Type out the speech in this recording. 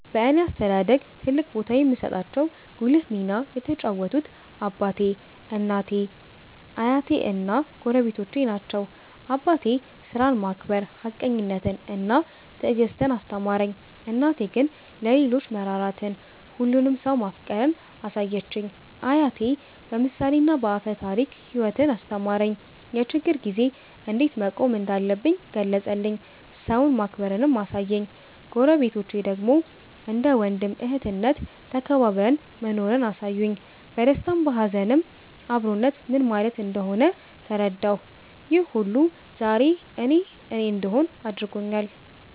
በእኔ አስተዳደግ ትልቅ ቦታ የሚሰጣቸው ጉልህ ሚና የተጫወቱት አባቴ፣ እናቴ፣ አያቴ እና ጎረቤቶቼ ናቸው። አባቴ ሥራን ማክበር፣ ሀቀኝነትን እና ትዕግስትን አስተማረኝ። እናቴ ግን ለሌሎች መራራትን፣ ሁሉንም ሰው ማፍቀርን አሳየችኝ። አያቴ በምሳሌና በአፈ ታሪክ ሕይወትን አስተማረኝ፤ የችግር ጊዜ እንዴት መቆም እንዳለብኝ ገለጸልኝ፤ ሰውን ማክበርንም አሳየኝ። ጎረቤቶቼ ደግሞ እንደ ወንድም እህትነት ተከባብረን መኖርን አሳዩኝ፤ በደስታም በሀዘንም አብሮነት ምን ማለት እንደሆነ ተረዳሁ። ይህ ሁሉ ዛሬ እኔ እኔ እንድሆን አድርጎኛል።